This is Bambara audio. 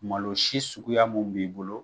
Malo si suguya mun b'i bolo